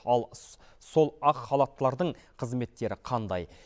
ал сол ақ халаттылардың қызметтері қандай